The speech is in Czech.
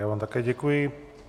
Já vám také děkuji.